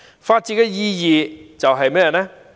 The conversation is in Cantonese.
法治的意義是甚麼？